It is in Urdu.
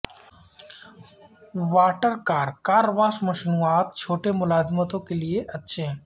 واٹر کار کار واش مصنوعات چھوٹے ملازمتوں کے لئے اچھے ہیں